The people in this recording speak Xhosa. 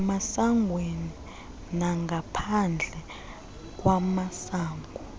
emasangweni nangaphandle kwamasango